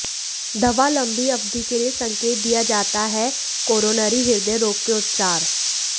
दवा लंबी अवधि के लिए संकेत दिया जाता है कोरोनरी हृदय रोग के उपचार